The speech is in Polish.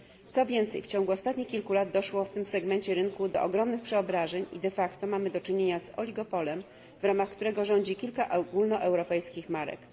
Co więcej w ciągu ostatnich kilku lat doszło w tym segmencie rynku do ogromnych przeobrażeń i de facto mamy do czynienia z oligopolem, w ramach którego rządzi kilka ogólnoeuropejskich marek.